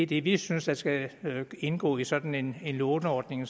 det vi synes der skal indgå i en sådan låneordning